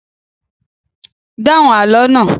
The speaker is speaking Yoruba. Dáhùn àlọ́ náà!